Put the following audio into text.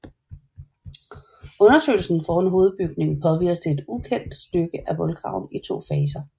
Undersøgelsen foran hovedbygningen påviste et ukendt stykke af voldgraven i to faser